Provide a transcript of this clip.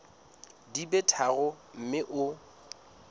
di be tharo mme o